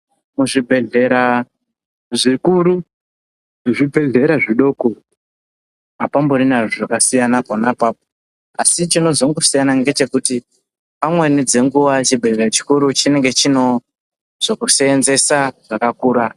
Muzvibhedhlera zvikuru nezvibhedhlera zvidoko hapamborina zvakasiyana pona apapo. Asi chinozongosiya ngechekuti amweni dzenguva chibhedhlera chikuru chinenge chino zvekusenzesa zvakakura.